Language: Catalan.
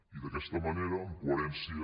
i d’aquesta manera en coherència